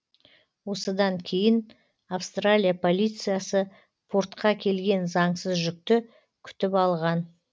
осыдан кейін австралия полициясы портқа келген заңсыз жүкті күтіп алған